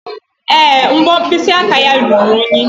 Èé, mbọ mkpịsị aka ya ruru unyi.